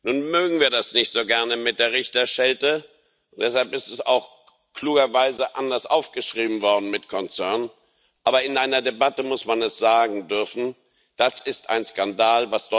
Nun mögen wir das nicht so gerne mit der Richterschelte. Deshalb ist es auch klugerweise anders aufgeschrieben worden mit concern Aber in einer Debatte muss man es sagen dürfen Das ist ein Skandal.